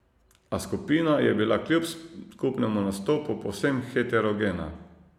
A skupina je bila kljub skupnemu nastopu povsem heterogena.